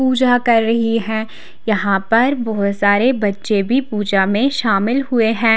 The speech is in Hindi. पूजा कर रही है यहां पर बहोत सारे बच्चे भी पूजा में शामिल हुए हैं।